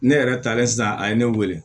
Ne yɛrɛ talen sisan a ye ne wele